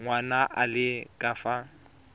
ngwana a le ka fa